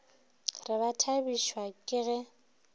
re ba thabišwa ke ge